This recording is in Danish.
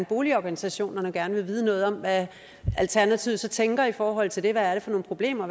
boligorganisationerne gerne vil vide noget om hvad alternativet så tænker i forhold til det hvad er det for nogle problemer